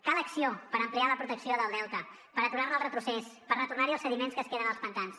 cal acció per ampliar la protecció del delta per aturar ne el retrocés per retornar hi els sediments que es queden als pantans